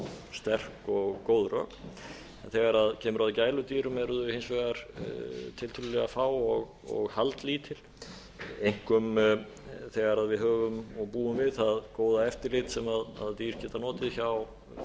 sterk og góð rök en þegar kemur að gæludýrum eru þau hins vegar tiltölulega fá og haldlítil einkum þegar við höfum og búum við það góða eftirlit sem dýr geta notið hjá dýralæknum